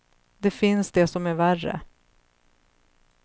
Det finns det som är värre.